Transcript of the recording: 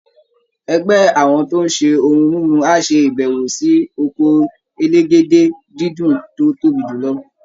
Ẹgbẹ́ àwọn tó ń ṣe ohun mímu á ṣe ìbẹ̀wò sí oko elégédé-dídùn tó tóbi jù lọ